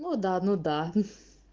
ну да ну да